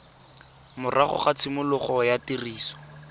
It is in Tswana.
morago ga tshimologo ya tiriso